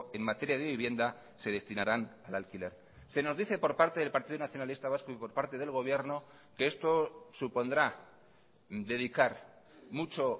en materia de vivienda se destinarán al alquiler se nos dice por parte del partido nacionalista vasco y por parte del gobierno que esto supondrá dedicar mucho